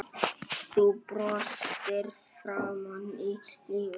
Þú brostir framan í lífið.